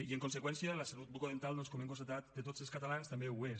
i en conseqüència la salut bucodental com hem constatat de tots els catalans també ho és